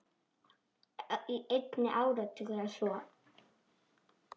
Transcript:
Í einn áratug eða svo.